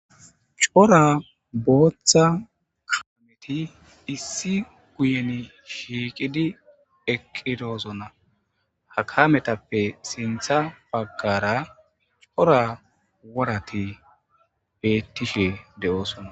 Coora booththa kaameti issi guuyen shiqqidi eqqidosona ha kaamettappe sinththa baggara coora worrati bettishe de'ossona.